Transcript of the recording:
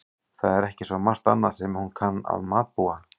Það er ekki svo margt annað sem hún kann að matbúa.